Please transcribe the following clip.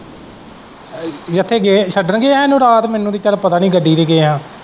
ਜਿੱਥੇ ਗਏ ਛੱਡਣ ਗਏ ਸਾਨੂੰ ਰਾਤ ਮੈਨੂੰ ਤੇ ਚੱਲ ਪਤਾ ਨਹੀਂ ਗੱਡੀ ਤੇ ਗਏ ਹਾਂ।